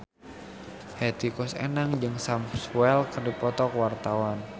Hetty Koes Endang jeung Sam Spruell keur dipoto ku wartawan